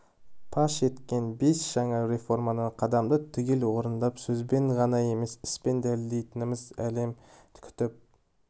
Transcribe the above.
паш еткен бес жаңа реформаны қадамды түгел орындап сөзбен ғана емес іспен дәлелдейтінімізді әлем күтіп